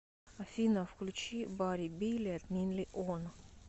афина включи бари билед нинли он